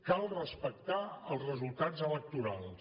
cal respectar els resultats electorals